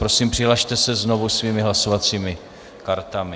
Prosím, přihlaste se znovu svými hlasovacími kartami.